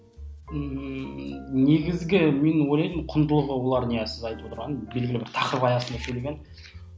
ммм негізгі мен ойлаймын құндылығы олардың иә сіз айтып отырған белгілі бір тақырып аясында келген